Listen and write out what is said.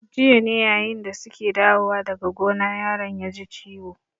Jiya ne yayin da su ke dawowa daga gona yaron ya ji ciwo.